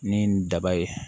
Ni daba ye